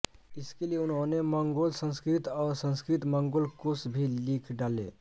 इसके लिए उन्होंने मंगोलसंस्कृत और संस्कृतमंगोल कोश भी लिख डाले